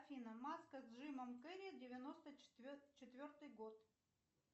афина маска с джимом керри девяносто четвертый год